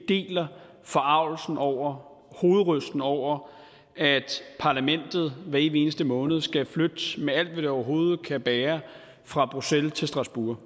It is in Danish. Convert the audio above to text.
deler forargelsen over hovedrystende over at parlamentet hver evig eneste måned skal flytte med alt hvad det overhovedet kan bære fra bruxelles til strasbourg